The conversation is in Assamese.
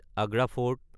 আগ্ৰা ফৰ্ট